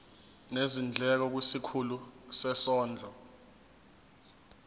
nezindleko kwisikhulu sezondlo